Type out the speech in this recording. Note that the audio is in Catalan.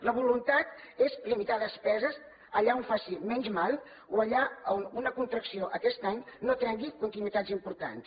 la voluntat és limitar despeses allà on faci menys mal o allà on una contracció aquest any no trenqui continuïtats importants